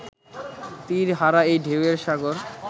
তীর হারা এই ঢেউ এর সাগর